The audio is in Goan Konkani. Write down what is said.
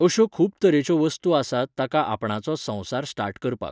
अश्यो खूब तरेच्यो वस्तू आसात ताका आपणाचो संवसार स्टार्ट करपाक.